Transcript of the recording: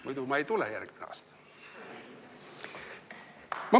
Muidu ma ei tule järgmine aasta.